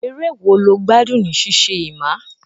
Eré wo lo gbádùn ní ṣíṣe, Emma?